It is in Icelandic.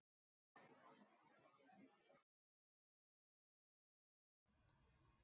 En þeir verða umgerð um mannlífið.